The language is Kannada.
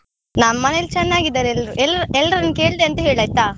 ನಮ್ ಮನೆಯಲ್ಲಿ ಚೆನ್ನಾಗಿದ್ದಾರೆ ಎಲ್ರು, ಎಲ್~ ಎಲ್ರನ್ನು ಕೇಳ್ದೆ ಅಂತ ಹೇಳ್ ಆಯ್ತಾ.